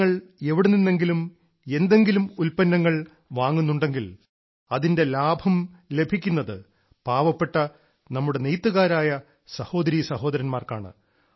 നിങ്ങൾ എവിടെ നിന്നെങ്കിലും എന്തെങ്കിലും ഉൽപ്പന്നങ്ങൾ വാങ്ങുന്നുണ്ടെങ്കിൽ അതിന്റെ ലാഭം ലഭിക്കുന്നത് പാവപ്പെട്ട നമ്മുടെ നെയ്ത്തുകാരായ സഹോദരീ സഹോദരന്മാർക്കാണ്